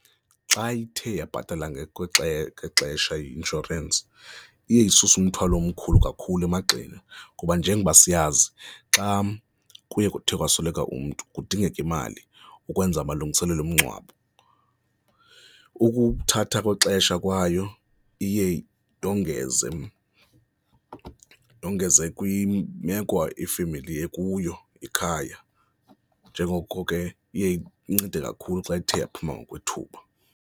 Xa ithe yabhatala ngexesha, ngexesha i-inshorensi, iye isuse umthwalo omkhulu kakhulu emagxeni kuba njengoba siyazi xa kuye kuthe wasweleka umntu kudingeka imali ukwenza amalungiselelo omngcwabo, ukuthatha kwexesha kwayo iye ndongeze, ndongeze kwimeko ifemeli ekuyo ekhaya njengoko ke iye incede kakhulu xa ithe yaphuma ngokwethuba.